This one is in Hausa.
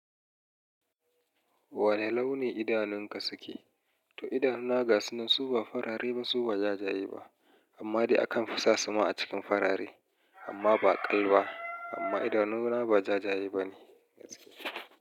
Wane launi idanunka suke? To idanuna gasu nan su ba farare ba su ba ja ja ye ba, amma dai akan fisa su ma a cikin farare amma ba kal ba amma idanuna ba ja ja ye ba ne gaske.